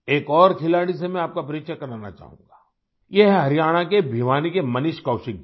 एक और खिलाड़ी से मैं आपका परिचय कराना चाहूँगा ये हैं हरियाणा के भिवानी के मनीष कौशिक जी